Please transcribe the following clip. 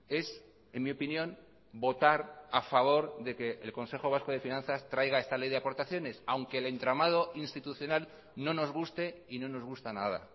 es en mi opinión votar a favor de que el consejo vasco de finanzas traiga esta ley de aportaciones aunque el entramado institucional no nos guste y no nos gusta nada